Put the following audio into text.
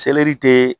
te